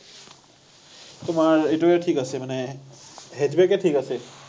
তোমাৰ এইটোৱে ঠিক আছে মানে, এ ঠিক আছে।